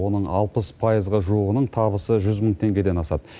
оның алпыс пайызға жуығының табысы жүз мың теңгеден асады